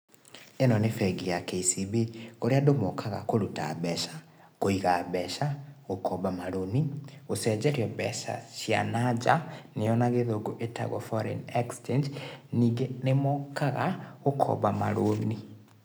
Ĩno nĩ bengi ya KCB kũrĩa andũ mokaga kuruta mbeca, kũiga mbeca, gũkomba marũni, gũcenjerio mbeca cia na nja, nĩyo na gĩthũngũ ĩtagwo foreign exchange, ningĩ nĩmokaga gũkomba marũni.